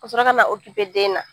Ka sɔrɔ ka na den na.